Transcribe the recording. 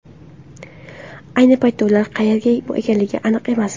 Ayni paytda ular qayerda ekanligi aniq emas.